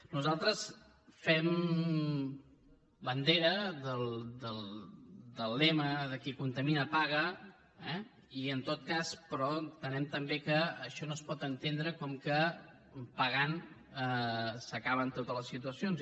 nosaltres fem bandera del lema de qui contamina paga eh però entenem també que això no es pot entendre com que pagant s’acaben totes les situacions